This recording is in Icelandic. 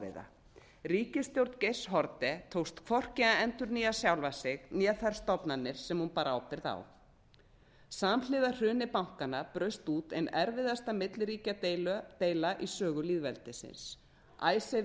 ofviða ríkisstjórn geirs haarde tókst hvorki að endurnýja sjálfa sig né þær stofnanir sem hún bar ábyrgð á samhliða hruni bankanna braust út ein erfiðasta milliríkjadeila í sögu lýðveldisins icesave